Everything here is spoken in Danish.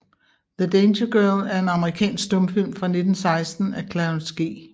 The Danger Girl er en amerikansk stumfilm fra 1916 af Clarence G